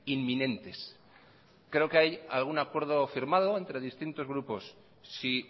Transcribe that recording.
inminentes creo que hay algún acuerdo firmado entre distintos grupos si